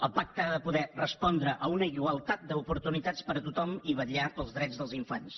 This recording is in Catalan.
el pacte ha de poder respondre a una igualtat d’oportunitats per a tothom i vetllar pels drets dels infants